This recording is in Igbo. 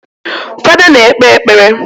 Fada na-ekpe ekpere